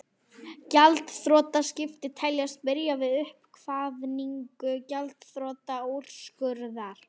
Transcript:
Gjaldþrotaskipti teljast byrja við uppkvaðningu gjaldþrotaúrskurðar.